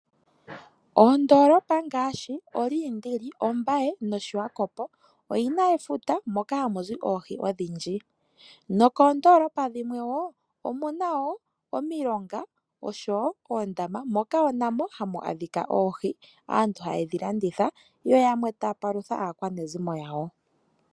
Oondolopa ngaashi Olindili ,Ombaye nOshiwakopo oyina efuta moka hamuzi oohi odhindji. Noonkondolopa dhimwe wo omuna wo omilonga oshowo oondama moka wo namo hamu adhika oohi aantu hayedhi landitha yo yamwe taya palutha aakwanezimo yawo.